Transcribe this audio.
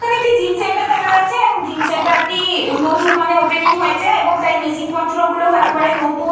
এখানে একটি gym centre দেখা যাচ্ছে এবং জিম সেন্টার টি নতুন মানে ওপেনিং হয়েছে। তাই মেশিন পত্র গুলো একেবারে নতুন।